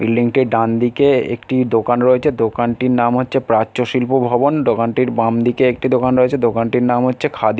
Building টির ডানদিকে একটি দোকান রয়েছে দোকানটির নাম হচ্ছে প্রাচ্য শিল্প ভবন দোকানটির বামদিকে একটি দোকান রয়েছে। দোকানটির নাম হচ্ছে খাদি--